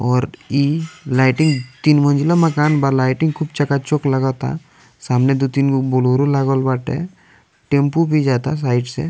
और इ लाइटिंग तीन मंजिला मकान बा लाइटिंग खुब चका चौक लागता सामने दो-तीनगो बोलेरो लागल बाटे टैम्पू भी जाता साइड से।